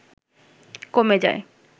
কমে যায়